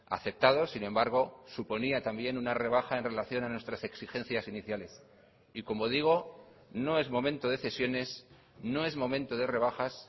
aceptados sin embargo suponía también una rebaja en relación a nuestras exigencias iniciales y como digo no es momento de cesiones no es momento de rebajas